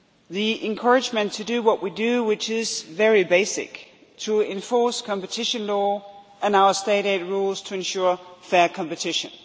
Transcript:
the encouragement to do what we do, which is very basic to enforce competition law and our State aid rules so as to ensure fair competition.